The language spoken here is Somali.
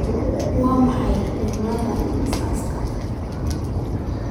waa maxay cimilada aaggaas